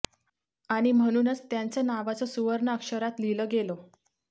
आणि म्हणूनच त्यांचं नावाचं सुवर्ण अक्षरात लिहिलं गेलं